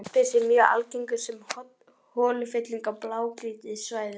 Jaspis er mjög algengur sem holufylling á blágrýtissvæðunum.